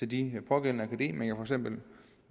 de pågældende akademikere